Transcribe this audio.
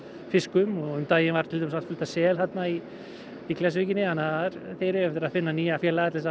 fiskum um daginn var til dæmis allt fullt af sel þarna í Klettsvíkinni þannig að þeir eiga eftir að hitta nýja félaga til að